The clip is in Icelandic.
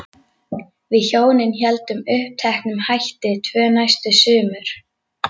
Við hjónin héldum uppteknum hætti tvö næstu sumur.